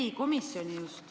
Just komisjoni seisukohta.